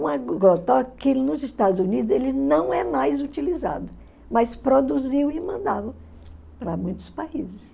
Um agrotóxico que nos Estados Unidos ele não é mais utilizado, mas produziu e mandava para muitos países.